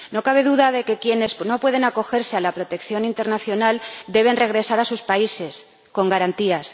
No cabe duda de que quienes no pueden acogerse a la protección internacional deben regresar a sus países, con garantías.